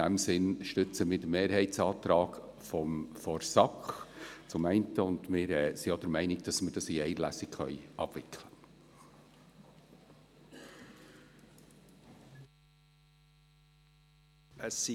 In diesem Sinn unterstützen wir den Mehrheitsantrag der SAK und sind auch der Meinung, dass wir dies in einer Lesung abwickeln können.